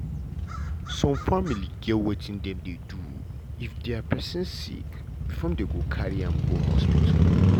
some family get wetin dem dey do if dia pesin sick before dem go carry am go hospital.